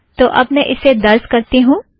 तो अब मैं उसे दर्ज़ करती हूँ